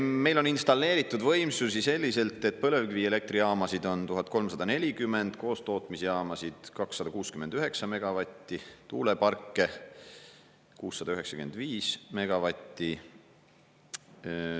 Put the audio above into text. Meil on installeeritud võimsusi selliselt, et põlevkivielektrijaamasid on 1340 megavatti, koostootmisjaamasid 269 megavatti, tuuleparke 695 megavatti.